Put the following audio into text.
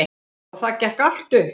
Og það gekk allt upp.